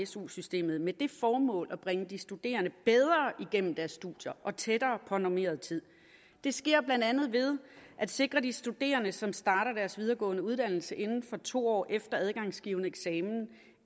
su systemet med det formål at bringe de studerende bedre igennem deres studier og tættere på normeret tid det sker blandt andet ved at sikre de studerende som starter deres videregående uddannelse inden for to år efter adgangsgivende eksamen